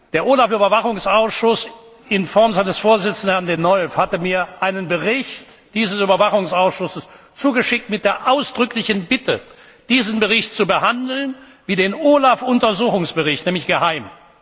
Der OLAF Überwachungsausschuss in Form seines Vorsitzenden, Herrn Denolf hatte mir einen Bericht dieses Überwachungsausschusses zugeschickt mit der ausdrücklichen Bitte, diesen Bericht zu behandeln wie den OLAF Untersuchungsbericht, nämlich geheim.